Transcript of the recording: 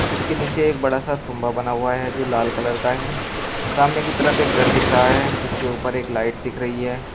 इसके नीचे एक बड़ा सा तुंबा बना हुआ है जो लाल कलर का है सामने की तरफ एक घर दिख रहा है जिसके ऊपर एक लाइट दिख रही है।